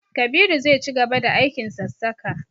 Kabiru zai cigaba da aikin sassaka.